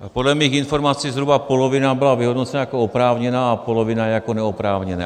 Podle mých informací zhruba polovina byla vyhodnocena jako oprávněná a polovina jako neoprávněná.